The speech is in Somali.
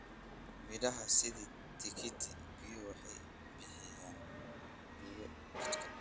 Miraha sida tikiti-biyo waxay bixiyaan biyo jidhka.